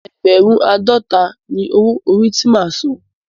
Ẹ́gbẹ̀rún àádọta ni owó orí ti máa san.